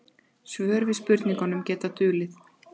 Svör við spurningum geta dulið.